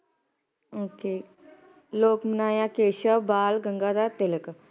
okay ਲੋਕ ਮਨਾਇਆ ਕੇਸ਼ਵ ਬਾਲ ਗੰਗਾਧਰ ਤਿਲਕ